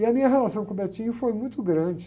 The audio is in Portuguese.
E a minha relação com o foi muito grande.